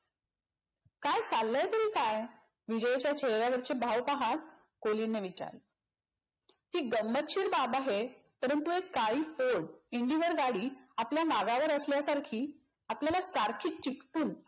काय चाललंय तरी काय? विजयच्या चेहऱ्यावरचे भाव पाहत कोलिनने विचारल. ही गंमतशीर बाब आहे परंतु एक काळी फोर्ड indigo गाडी आपल्या मागावर असल्यासारखी आपल्याला सारखी चिटकून